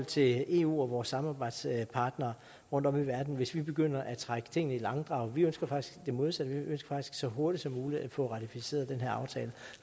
til eu og vores samarbejdspartnere rundtom i verden hvis vi begyndte at trække tingene i langdrag vi ønsker faktisk det modsatte vi ønsker så hurtigt som muligt at få ratificeret den her aftale